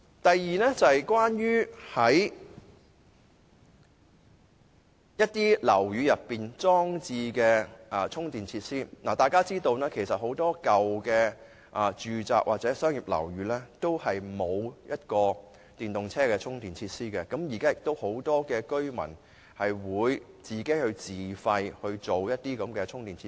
第二，關於在大廈內裝設充電設施的問題，相信大家也知道，很多舊式住宅或商業樓宇均沒有電動車充電設施，而現時很多居民均願意自費裝設充電設施。